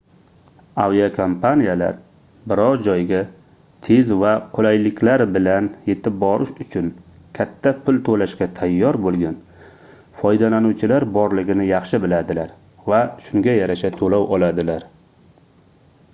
aviakompaniyalar biror joyga tez va qulayliklar bilan yetib borish uchun katta pul toʻlashga tayyor boʻlgan foydalanuvchilar borligini yaxshi biladilar va shunga yarasha toʻlov oladilar